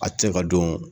A tɛ se ka don